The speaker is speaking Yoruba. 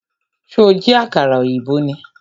Ṣó jí àkàrà ọ̀yìnbó ni?